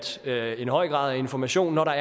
skal en høj grad af informationer